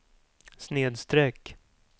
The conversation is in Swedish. snedsträck